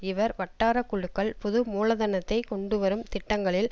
இவர் வட்டார குழுக்கள் புது மூலதனத்தை கொண்டு வரும் திட்டங்களில்